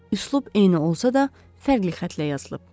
Üslub eyni olsa da, fərqli xəttlə yazılıb.